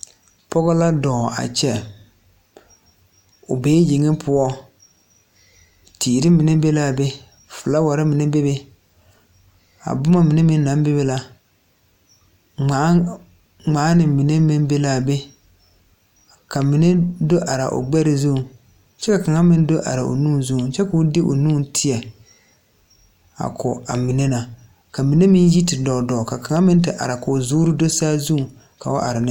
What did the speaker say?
Pɔgɔ la dɔɔ a kyɛ o bee yeŋe poɔ teere mine be laa be flaawarre mine bebe a bomma mine meŋ naŋ bebe la ngmaane mine meŋ be laa be ka mine do araa o gbɛre zuŋ kyɛ ka kaŋa meŋ do are o nu zuŋ koo de o nu tēɛ a ko a mine na ka mine meŋ yi te dɔɔ dɔɔ ka kaŋa meŋ te are koo zuure do saazuŋ ka o are ne.